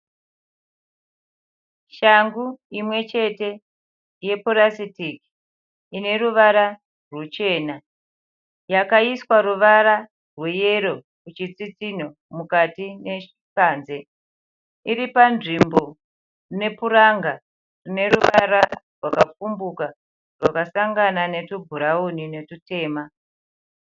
Shangu imwe chete yepurasitiki ineruvara ruchena yakaiswa ruvara rweyero kuchitsitsinho mukati nepanze. Iripanzvimbo nepuranga neruvara rwakapfumbuka rwakasangana netubhurauni netutema.